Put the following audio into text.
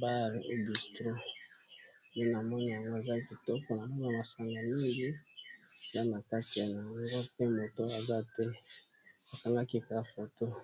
bale ubystron pe na mona amo eza kitoko na mona masanga mingi za na kaki ya na yango mpe moto aza te akangaki kaka fotoy